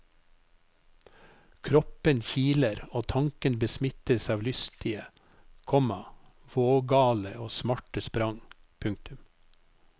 Kroppen kiler og tanken besmittes av lystige, komma vågale og smarte sprang. punktum